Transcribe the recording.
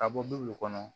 Ka bɔ duw kɔnɔ